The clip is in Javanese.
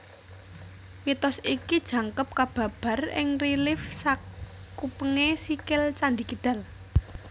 Mitos iki jangkep kababar ing relief sakupengé sikil Candhi Kidal